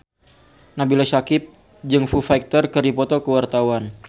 Nabila Syakieb jeung Foo Fighter keur dipoto ku wartawan